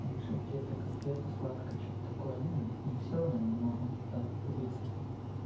там ещё какие-то конфеты сладкое что-то такое ну не всё но много так позиций